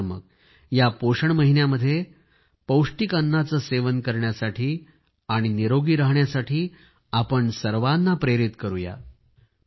चला तर मग या पोषण महिन्यामध्ये पौष्टिक अन्नाचे सेवन करणे आणि स्वस्थ राहण्यासाठी आपण सर्वाना प्रेरित करूया